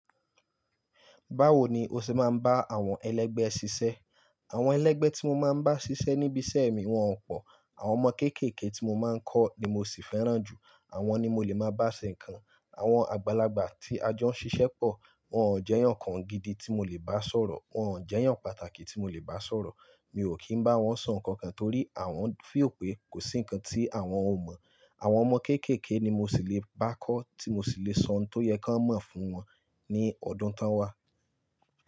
Báwo ni o ṣe máa ń bá àwọn ẹlẹ́gbẹ́ ṣiṣẹ́? Àwọn ẹlẹ́gbẹ́ tí mo máa ń bá ṣiṣẹ́ níbi iṣẹ́ mi wọ́n pọ̀. Àwọn ọmọ kéékèèké tí mo máa ń kọ́ ni mo sì fẹ́ràn jù, àwọn ni mo lè máa bá ṣe nǹkan. Àwọn àgbàlagbà tí a jọ ń ṣiṣẹ́ pọ̀, wọ́n ò jẹyàn ǹkan gidi tí mo lè bá sọ̀rọ̀, wọ́n ò jẹyàn pàtàkì tí mo lè bá sọ̀rọ̀. Mi ò kí ń bá wọn sọ ǹkan kan torí àwọn feel pé kò sí ǹkan tí àwọn ò mọ̀. Àwọn ọmọ kéékèèké ni mo ṣì lè bá kọ́, tí mo ṣì lè sọ ohun tó yẹ ko mọ̀ fún wọn ní ọdún tó ń wá.